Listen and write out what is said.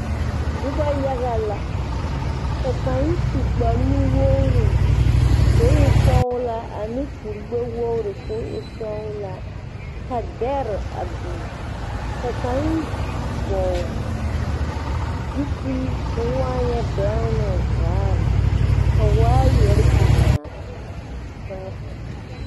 Nuba yaga la ka kang su kpare nu wɔgre kuo e sɔglaa ane kuri gbe wɔgre kuo e sɔglaa ka dare a bing ka kang vɔgle zupili kuo waanye bengnuũ vaare ka waayeri bengaã tenga.